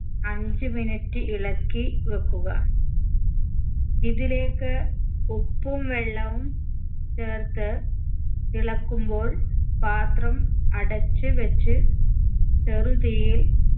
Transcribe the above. അഞ്ച്‌ minute ഇളക്കി വെക്കുക ഇതിലേക്ക് ഉപ്പും വെള്ളവും ചേർത്ത് തിളക്കുമ്പോൾ പാത്രം അടച്ച് വെച്ച് ചെറുതീയിൽ